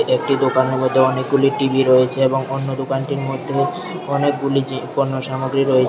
একটি দোকানের মধ্যে অনেকগুলি টি_ভি রয়েছে এবং অন্য দোকানটির মধ্যে অনেকগুলি জিন পণ্য সামগ্রী রয়েছে।